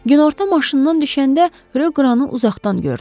Günorta maşından düşəndə Rö qranı uzaqdan gördü.